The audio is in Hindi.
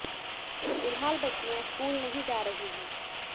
फिलहाल बच्चियां स्कूल नहीं जा रही है